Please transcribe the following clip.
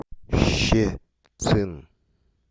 щецин